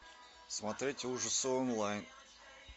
смотреть ужасы онлайн